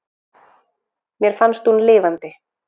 Mér fannst hún lifandi.